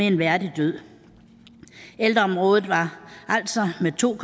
en værdig død ældreområdet var altså med to